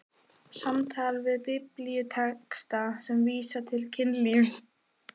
SAMTAL VIÐ BIBLÍUTEXTA SEM VÍSA TIL KYNLÍFS